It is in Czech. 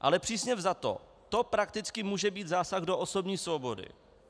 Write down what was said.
Ale přísně vzato to prakticky může být zásah do osobní svobody.